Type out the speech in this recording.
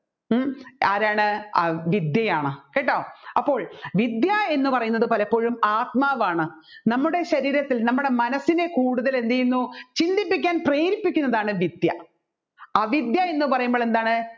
ഉം ആരാണ് അ വിദ്യയാണ് കേട്ടോ അപ്പോൾ വിദ്യ എന്ന് പറയുന്നത് പലപ്പോഴും ആത്മാവാണ് നമ്മുടെ ശരീരത്തിൽ നമ്മുടെ മനസ്സിനെ കൂടുതൽ എന്ത് ചെയ്യുന്നു ചിന്തിപ്പിക്കാൻ പ്രേരിപ്പിക്കുന്നതാണ് വിദ്യ അവിദ്യ എന്ന് പറയുമ്പോൾ എന്താണ്